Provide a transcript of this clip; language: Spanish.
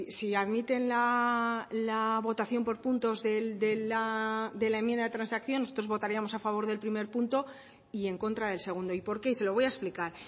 si admiten la votación por puntos de la enmienda de transacción nosotros votaríamos a favor del primer punto y en contra del segundo y por qué se lo voy a explicar